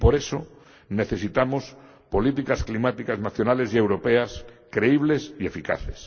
Y por eso necesitamos políticas climáticas nacionales y europeas creíbles y eficaces.